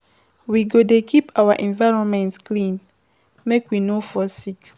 We go dey keep our environment clean, make we no fall sick.